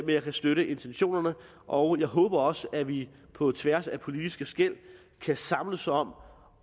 jeg kan støtte intentionerne og jeg håber også at vi på tværs af politiske skel kan samles om